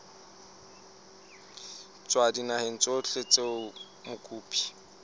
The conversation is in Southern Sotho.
tswa dinaheng tsohle tseo mokopi